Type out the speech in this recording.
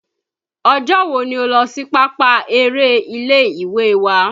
Ọjọ́ wo ni ó lọ́ sí pápá eré ilé ìwé wa?